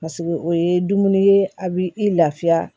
Paseke o ye dumuni ye a b'i i lafiya